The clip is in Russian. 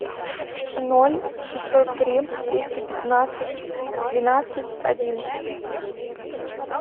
ноль шестьсот три триста пятнадцать двенадцать одиннадцать